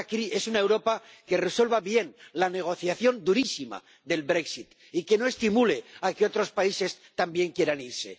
Es una Europa que resuelva bien la negociación durísima del brexit y que no estimule a que otros países también quieran irse.